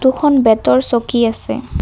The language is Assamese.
এখন বেঁতৰ চকী আছে।